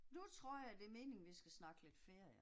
Nu tror jeg det er meningen vi skal snakke lidt ferie